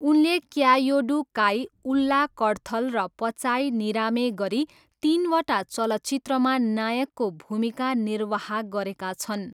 उनले क्यायोडू काई, उल्ला कडथल र पचाई निरामे गरी तिनवटा चलचित्रमा नायकको भूमिका निर्वाह गरेका छन्।